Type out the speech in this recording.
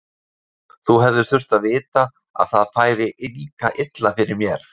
Þú hefðir þurft að vita að það færi líka illa fyrir mér.